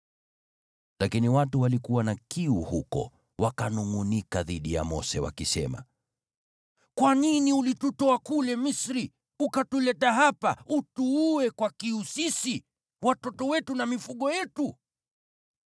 Lakini watu walikuwa na kiu huko, wakanungʼunika dhidi ya Mose, wakisema, “Kwa nini ulitutoa kule Misri, ukatuleta hapa utuue kwa kiu sisi, watoto wetu na mifugo yetu?”